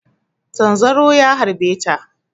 Zanzaro ya harba ta.